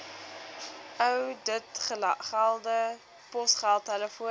ouditgelde posgeld telefoon